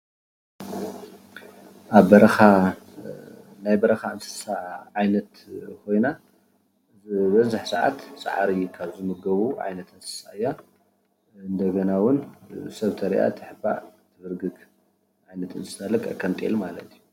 ኣብ በረኻ ናይ በረኻ እንስሳ ዓይነት ኾይና ዝበዝሕ ሰዓት ሳዕሪ ኻብ ዝምገቡ እንደገና እውን ሰብ እንተሪኣ ትሕባእ ልክዕ ከሞ ጤል ማለት እዩ።